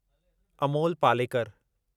Amol Palekar